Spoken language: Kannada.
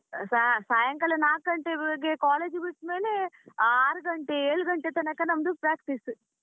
ಸಾ~ ಸಾಯಂಕಾಲ ನಾಕ್ ಗಂಟೆ college ಬಿಟ್ಟು ಮೇಲೆ ಆರ್ ಗಂಟೆ ಏಳ್ ಗಂಟೆ ತನಕ ನಮ್ದು practice .